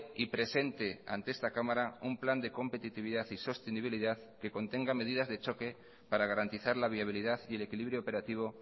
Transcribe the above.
y presente ante esta cámara un plan de competitividad y sostenibilidad que contenga medidas de choque para garantizar la viabilidad y el equilibrio operativo